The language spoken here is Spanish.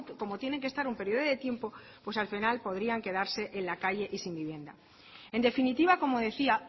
como tienen que estar un periodo de tiempo pues al final podrían quedarse en la calle y sin vivienda en definitiva como decía